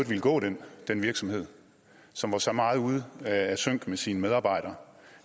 ville gå den den virksomhed som var så meget ude af sync med sine medarbejdere